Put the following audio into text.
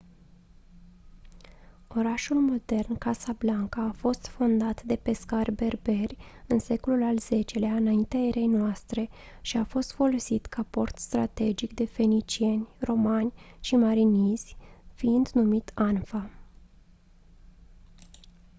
orașul modern casablanca a fost fondat de pescari berberi în secolul al x-lea î.e.n. și a fost folosit ca port strategic de fenicieni romani și marinizi fiind numit anfa